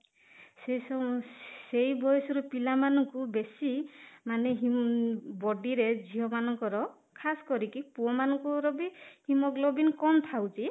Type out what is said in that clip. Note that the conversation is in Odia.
ସେ ସେ ବୟସର ପିଲାମାନଙ୍କୁ ବେଶୀ ମାନେ body ରେ ଝିଅମାନଙ୍କର ଖାସ କରିକି ପୁଅ ମାନଙ୍କର ବି haemoglobin କମ ଥାଉଛି